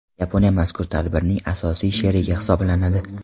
Yaponiya mazkur tadbirning asosiy sherigi hisoblanadi.